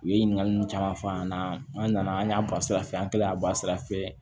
U ye ɲininkaliw caman f'a ɲɛna an nana an y'a bɔ sira fɛ an kɛlen y'a bɔ sira fɛ